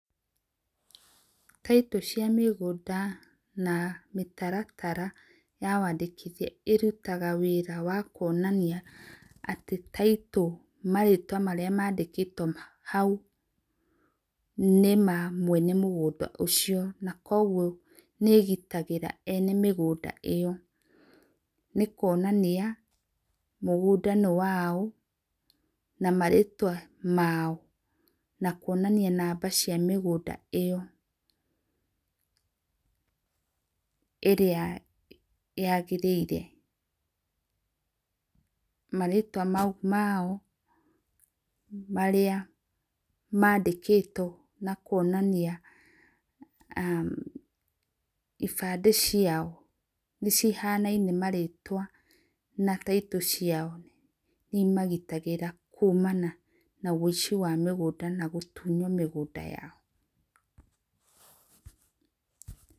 Taitũ cia mĩgũnda na mĩtaratara ya wandĩkĩthĩa ĩrũtaga wĩra wa kũonanĩa atĩ taitũ marĩtwa marĩa mandĩkĩtwo haũ nĩ ma mwene mũgũnda ũcio na kwogwo nĩ igĩtagĩra ene mĩgũnda iyo, nĩ kũonanĩa mũgũnda nĩ wao na marĩtwa mao na kũonanĩa namba cia mĩgũnda ĩyo ĩrĩa yagĩrĩire, marĩtwa maũ mao marĩa maandĩkĩtwo na kũonanĩa umm ibande ciao nĩ cihanaine marĩtwa na taitũ ciao nĩ imagĩtagĩra kũmana na wĩci wa mĩgũnda na gũtũnywo mĩgũnda yao.